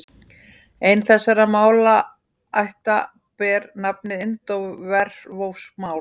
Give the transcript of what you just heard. Ein þessara málaætta ber nafnið indóevrópsk mál.